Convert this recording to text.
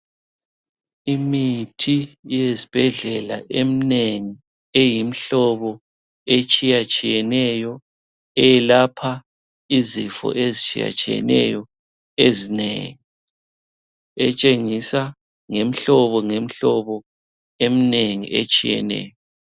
Imithi yezibhedlela emnengi eyimihlobo etshiyatshiyeneyo, eyelapha izifo ezitshiyatshiyeneyo ezinengi etshengisa ngemhlobo emnengi etshiyeneyo.